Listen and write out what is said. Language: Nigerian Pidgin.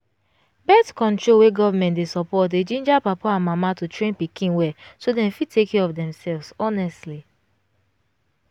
birth-control wey government dey support dey ginger papa and mama to train pikin well so them fit take care of themselves honestly